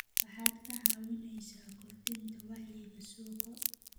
Waxaad ka caawinaysaa kordhinta wacyiga suuqa.